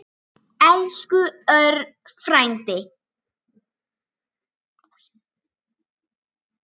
Elsku Örn frændi.